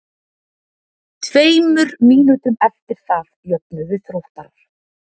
Tveimur mínútum eftir það jöfnuðu Þróttarar.